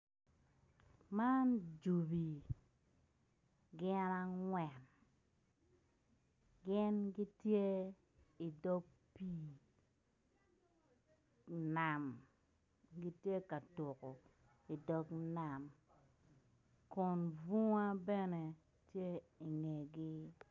Man jobi gin angwen gin gitye idog nam gitye ka tuko idog nam kun bung bene tye ingegi.